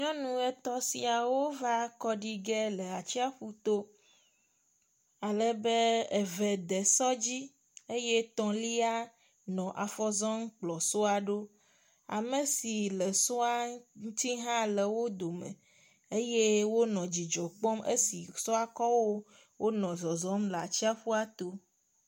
Nyɔnu etɔ̃ siawóva kɔɖige le atsiaƒuto alebe eve de sɔ dzi eyɛ tɔ̃lia nɔ afɔzɔm kplɔ sɔa ɖo, amesi le sɔa ŋutsi hã le wódome eyɛ wónɔ dzidzɔkpɔm esi sɔa kɔwó wónɔ zɔzɔm le atsiaƒuato